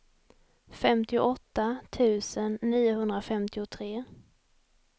femtioåtta tusen niohundrafemtiotre